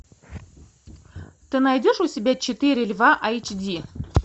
ты найдешь у себя четыре льва эйч ди